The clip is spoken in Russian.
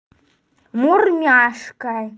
мур няшка